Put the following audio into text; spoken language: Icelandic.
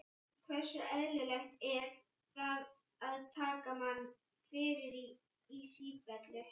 Hversu eðlilegt er það að taka mann fyrir í sífellu?